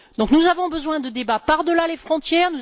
Nous avons besoin de débats par delà les frontières.